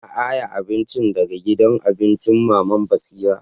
Na aiya abincin daga gidan abincin mama'n Basira.